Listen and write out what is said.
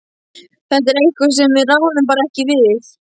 Þetta er eitthvað sem við ráðum bara ekki við.